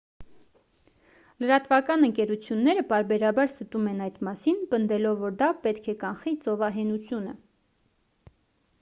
լրատվական ընկերությունները պարբերաբար ստում են այդ մասին պնդելով որ դա պետք է կանխի ծովահենությունը